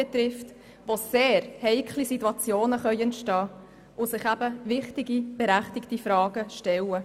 Dort können sehr heikle Situationen entstehen und sich wichtige und berechtigte Fragen stellen.